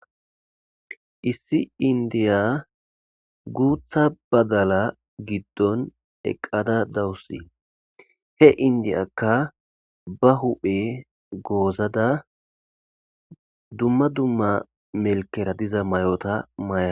Issi inddiya guuththa badalaa giddon eqqada dawusi; he inddiyaakka ba huuphe goozada dumma dumma melkkeera diza mayotha mayasu.